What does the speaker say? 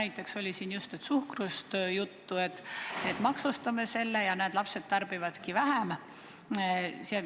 Just oli juttu suhkrust, et maksustame selle, ja küllap näeme, et lapsed tarbivadki vähem.